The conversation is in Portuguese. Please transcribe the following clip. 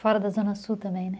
Fora da Zona Sul também, né?